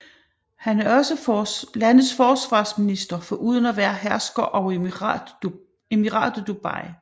Han er også landets forsvarsminister foruden at være hersker over Emiratet Dubai